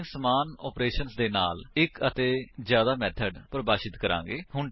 ਅਸੀ ਸਮਾਨ ਆਪਰੇਸ਼ਨ ਦੇ ਨਾਲ ਇੱਕ ਅਤੇ ਜਿਆਦਾ ਮੇਥਡ ਪਰਿਭਾਸ਼ਿਤ ਕਰਾਂਗੇ